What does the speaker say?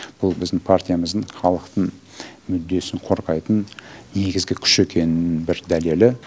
бұл біздің партиямыздың халықтың мүддесін қорғайтын негізгі күш екенінің бір дәлелі